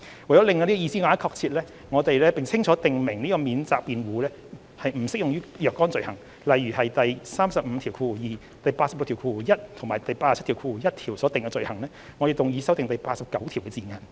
為令這個意思更為確切，並清楚訂明此免責辯護不適用於若干罪行，例如第352、861及871條等所訂的罪行，我們動議修正第89條的字眼。